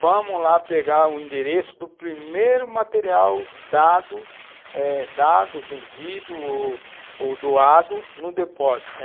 Vamos lá pegar o endereço do primeiro material dado, eh, dado, vendido ou doado no depósito.